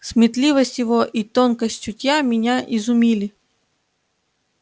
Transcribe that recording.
сметливость его и тонкость чутья меня изумили